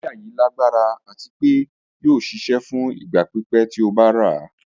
Wàyà yìí lágbara àti pé yóò ṣíṣẹ̀ fún ìgba pípẹ̀ tí ó bá rà.